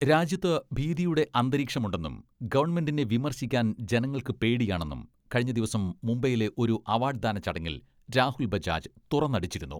രാജ്യത്ത് ഭീതിയുടെ അന്തരീക്ഷമുണ്ടെന്നും ഗവൺമെന്റിനെ വിമർശിക്കാൻ ജനങ്ങൾക്ക് പേടിയാണെന്നും കഴിഞ്ഞ ദിവസം മുംബൈയിലെ ഒരു അവാഡ്ദാന ചടങ്ങിൽ രാഹുൽ ബജാജ് തുറന്നടിച്ചിരുന്നു.